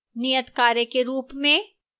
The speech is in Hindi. नियतकार्य के रूप में: